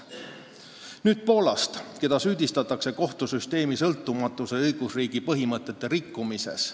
Nüüd Poolast, keda süüdistatakse kohtusüsteemi sõltumatuse ja õigusriigi põhimõtete rikkumises.